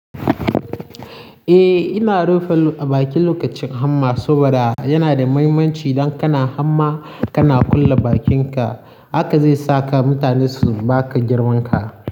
Eh, ina rufe baki lokacin hamma saboda yana da muhimmanci. Dan kana hamma, kana kulle bakinka, haka zai saka mutane su baka girmanka.